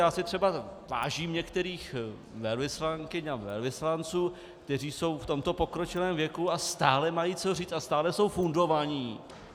Já si třeba vážím některých velvyslankyň a velvyslanců, kteří jsou v tomto pokročilém věku a stále mají co říct a stále jsou fundovaní.